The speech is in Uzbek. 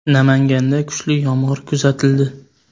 Namanganda kuchli yomg‘ir kuzatildi .